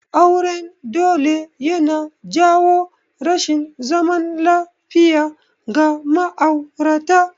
Auren dole yana jawo rashin zaman lafiya ga ma'aurata